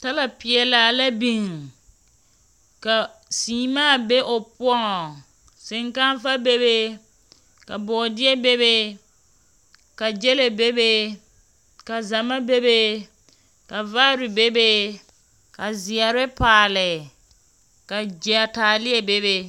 Tala peɛlaa la biŋ, ka seemaa be o poɔŋ, seŋkaafa be be, ka bɔɔdeɛ be be, ka gyɛlɛ be be, ka zama be be, ka vaare be be, ka zeɛre paale, ka gy… taaleɛ be be.